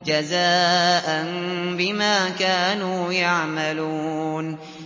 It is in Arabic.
جَزَاءً بِمَا كَانُوا يَعْمَلُونَ